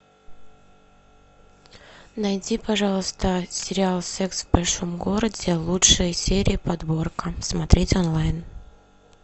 найди пожалуйста сериал секс в большом городе лучшие серии подборка смотреть онлайн